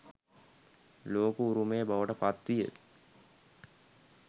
ලෝක උරුමය බවට පත් විය.